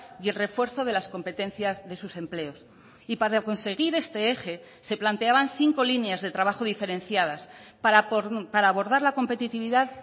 y el refuerzo de las competencias de sus empleos y para conseguir este eje se planteaban cinco líneas de trabajo diferenciadas para abordar la competitividad